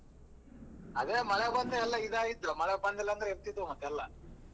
ಅದೇ ಮಳೆ ಬಂದು ಎಲ್ಲ ಇದಾಗಿತ್ತು ಮಳೆ ಬಂದಿಲ್ಲ ಅಂದ್ರೆ ಇರತಿದವು ಮತ್ತ್ ಎಲ್ಲ.